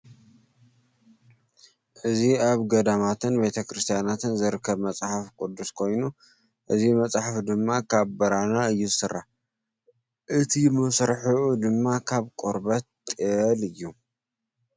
እዚ ኣብ ገዳማትን ቤተክርስትያናትን ዝርከብ መፅሓፍ ቁዱስ ኮይኑ እዚ ማፅሓፍ ድማ ካብ ብራና እዩ ዝስራሕ። እቲ መስርሒኡ ድማ ካብ ቆርበት ጥየል እዩ።